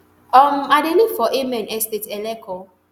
um i dey live for amen estate eleko